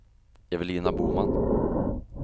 Evelina Boman